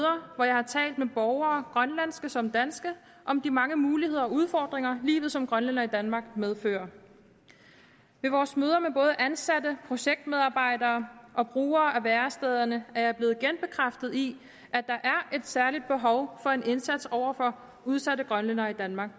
hvor jeg har talt med borgere grønlandske som danske om de mange muligheder og udfordringer livet som grønlænder i danmark medfører ved vores møder med både ansatte projektmedarbejdere og brugere af værestederne er jeg blevet genbekræftet i at der er et særligt behov for en indsats over for udsatte grønlændere i danmark